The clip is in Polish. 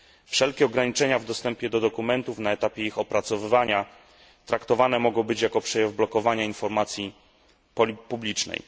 Wszelkie ograniczenia w dostępie do dokumentów na etapie ich opracowywania traktowane mogą być jako przejaw blokowania informacji publicznej.